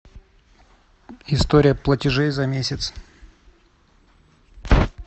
история платежей за месяц